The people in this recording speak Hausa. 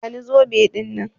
Ki bani zobe ɗinnan.